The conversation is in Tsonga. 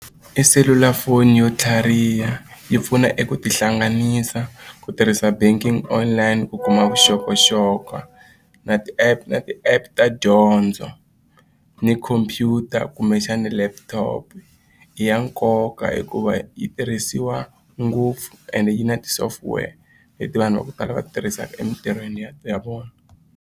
I selulafoni yo tlhariha yi pfuna eku tihlanganisa ku tirhisa banking online ku kuma vuxokoxoko na ti-app na ti-app ta dyondzo ni khompyuta kumbexana laptop i ya nkoka hikuva yi tirhisiwa ngopfu and yi na ti-software leti vanhu va ku tala va tirhisaka emitirhweni ya vona.